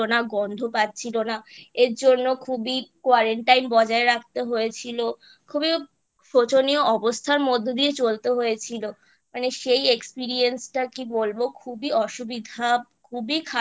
গন্ধ পাচ্ছিলো না এরজন্য খুবই Quarantine বজায় রাখতে হয়েছিল খুবই শোচনীয় অবস্থার মধ্যে দিয়ে চলতে হয়েছিল মানে সেই Experience টা কি বলবো খুবই অসুবিধা খুবই খারাপ